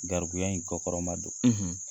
Gɛribuya in kɔ kɔrɔmadon